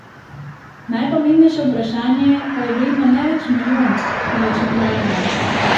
Najpomembnejše vprašanje pa je vredno ne več milijon, temveč milijardo.